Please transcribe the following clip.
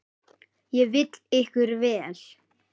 Ég vil ykkur vel.